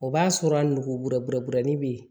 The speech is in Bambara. O b'a sɔrɔ a nugubɛ bɔrɛ bɔrɛni be yen